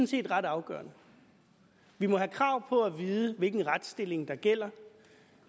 set ret afgørende vi må have krav på at vide hvilken retsstilling der gælder